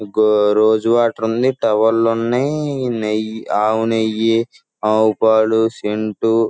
Go rose water ఉంది. తోవెళ్ళు ఉన్నాయ్. నీయ్ ఆవునేయి ఆవుపాలు సెంటు --